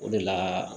O de la